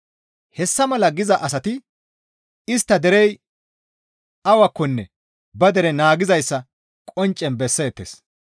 Hessa mala giza asati istta derey awakkonne ba dere naagizayssa qonccen besseettes.